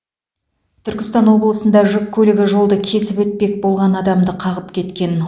түркістан облысында жүк көлігі жолды кесіп өтпек болған адамды қағып кеткен